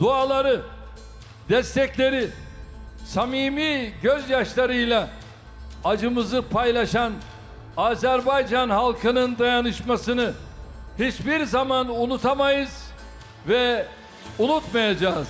duaları, dəstəkləri, səmimi göz yaşlarıyla acımızı paylaşan Azərbaycan xalqının dayanışmasını heç bir zaman unutamayız və unutmayacağız.